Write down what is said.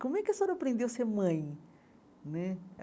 Como é que a senhora aprendeu a ser mãe né?